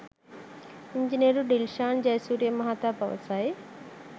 ඉංජිනේරු ඩිල්ෂාන් ජයසූරිය මහතා පවසයි